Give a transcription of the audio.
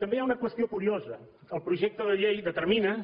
també hi ha una qüestió curiosa el projecte de llei determina